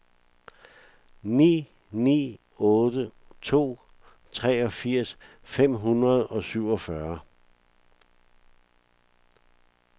ni ni otte to treogfirs fem hundrede og syvogfyrre